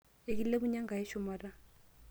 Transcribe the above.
enkilepunye Enkai shumata